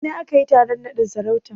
A ina aka yi taron naɗin sarautan?